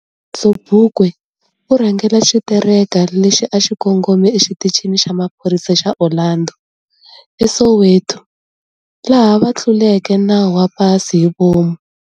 Sobukwe urhangele xitereka lexi a xikongome e xitichini xa maphorisa xa Orlando, e Soweto, laha va tluleke nawu wa pasi hivomu.